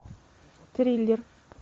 триллер